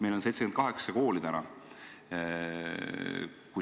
Meil on selle liikumisega ühinenud 78 kooli.